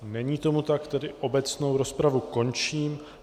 Není tomu tak, tedy obecnou rozpravu končím.